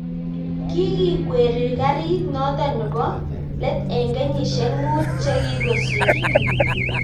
kikikweri karit noto nebo let eng kenyishek muut che kikosirto